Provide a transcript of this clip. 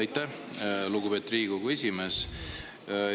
Aitäh, lugupeetud Riigikogu esimees!